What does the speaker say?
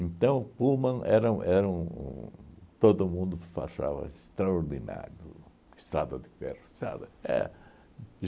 Então, o Pullman era um era um... Todo mundo fachava extraordinário, Estrada de Ferro, sabe? É